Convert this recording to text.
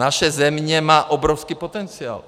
Naše země má obrovský potenciál.